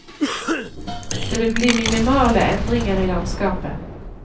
Det vil bli minimale endringer i landskapet.